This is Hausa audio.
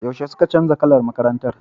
Yaushe suke canza kalar makarantar?